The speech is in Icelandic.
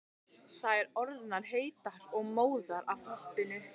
Þær orðnar heitar og móðar af hoppinu.